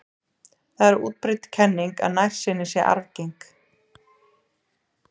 Það er útbreidd kenning að nærsýni sé arfgeng.